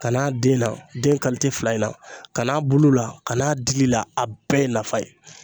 Kan'a den na den fila in na ka n'a bulu la ka n'a dili la a bɛɛ ye nafa ye